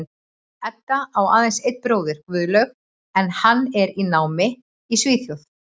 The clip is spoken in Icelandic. Edda á aðeins einn bróður, Guðlaug, en hann er í námi í Svíþjóð.